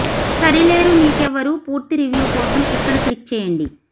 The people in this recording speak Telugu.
సరిలేరు నీకెవ్వరు పూర్తి రివ్యూ కోసం ఇక్కడ క్లిక్ చేయండి